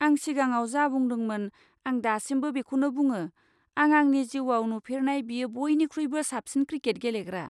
आं सिगाङाव जा बुंदोंमोन आं दासिमबो बेखौनो बुङो, आं आंनि जिउवाव नुफेरनाय बेयो बयनिख्रुइबो साबसिन क्रिकेट गेलेग्रा।